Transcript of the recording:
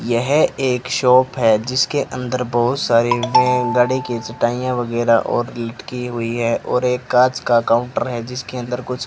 यह एक शॉप है जिसके अंदर बहोत सारे वेन गाड़ी की चटाइयां वगैरा और लटकी हुई है और एक कांच का काउंटर है जिसके अंदर कुछ --